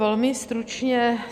Velmi stručně.